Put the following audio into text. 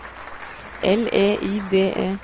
L E I D E